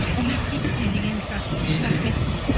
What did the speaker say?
энергичный дегені шығар мхм рахмет үлкен